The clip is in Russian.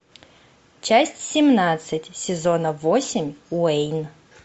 часть семнадцать сезона восемь уэйн